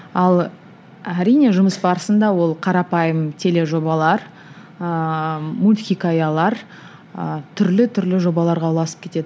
ал әрине жұмыс барысында ол қарапайым тележобалар ыыы мултьхикаялар ы түрлі түрлі жобаларға ұласып кетеді